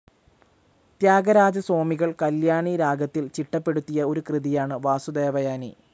ത്യാഗരാജസ്വാമികൾ കല്യാണിരാഗത്തിൽ ചിട്ടപ്പെടുത്തിയ ഒരു കൃതിയാണ് വാസുദേവയനി.